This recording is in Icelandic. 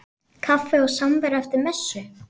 Kaffi og samvera eftir messu.